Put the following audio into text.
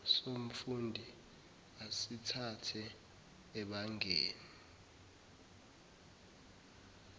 somfundi asithathe ebangeni